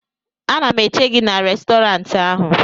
ana m eche gị n'Restọrantị ahụ